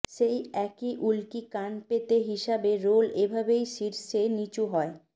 সেই একই উল্কি কান পেতে হিসাবে রোল এইভাবে শীর্ষে নিচু হয়